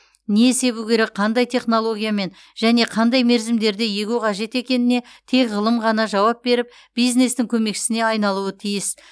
не себу керек қандай технологиямен және қандай мерзімдерде егу қажет екеніне тек ғылым ғана жауап беріп бизнестің көмекшісіне айналуы тиіс